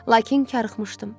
Lakin karıxmışdım.